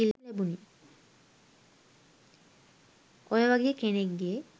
ඔය වගේ කෙනෙක් ගේ